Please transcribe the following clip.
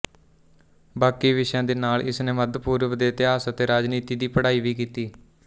ਬਾਕੀ ਵਿਸ਼ਿਆਂ ਦੇ ਨਾਲ਼ ਇਸਨੇ ਮੱਧਪੂਰਬ ਦੇ ਇਤਿਹਾਸ ਅਤੇ ਰਾਜਨੀਤੀ ਦੀ ਪੜ੍ਹਾਈ ਵੀ ਕੀਤੀ